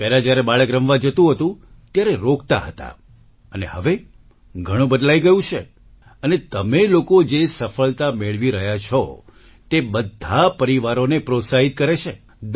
પહેલા જ્યારે બાળક રમવા જતું હતું ત્યારે રોકતા હતા અને હવે ઘણું બદલાઈ ગયું છે અને તમે લોકો જે સફળતા મેળવી રહ્યા છો તે બધા પરિવારોને પ્રોત્સાહિત કરે છે